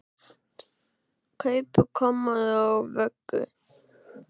Kaupi kommóðu og vöggu.